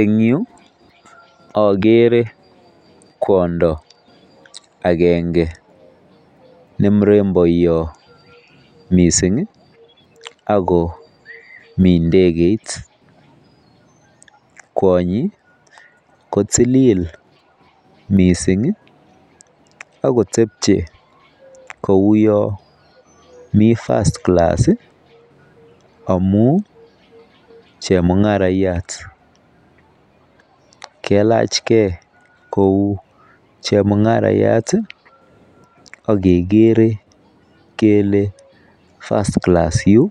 En yuu okere kwondo agenge ne muremboyot missingi Ako mii ndekeit kwonyi kotililil missingi ak kotepchie kouwon mii first class amun chemungarayat, kailachgee kou chemungarayat tii ak kekere kele first class yuu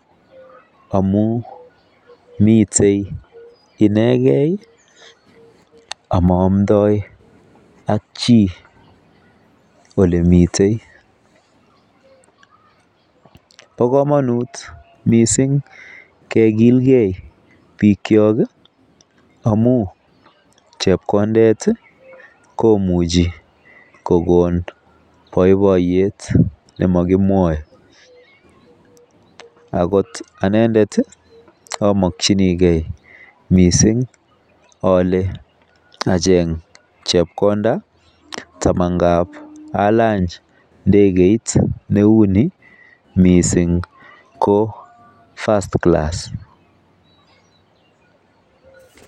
amun miten inekei amoomdoi ak chii olemiten. Bo komonut missing kekilgee bik kyok amun chepkondet komuchi kokon boiboiyet nemokimwoe Ako anendet tii imokinigee missing ole achek chepkonda tamanan alany ndekeit neu nii missing ko first class.